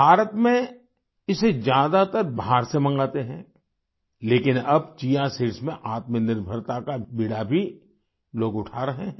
भारत में इसे ज्यादातर बाहर से मगाते हैं लेकिन अब चिया सीड्स चिया सीड्स में आत्मनिर्भरता का बीड़ा भी लोग उठा रहे हैं